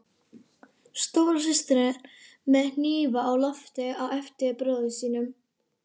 Stóra systirin með hnífa á lofti á eftir bróður sínum.